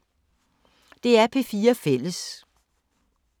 DR P4 Fælles